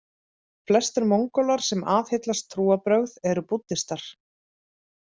Flestir Mongólar sem aðhyllast trúarbrögð eru búddistar.